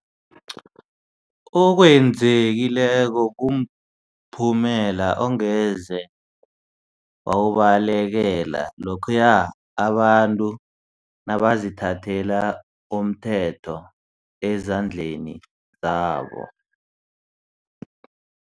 okwenzekileko kumphumela ongeze wawubalekela lokhuya abantu nabazithathela umthetho ezandleni zabo.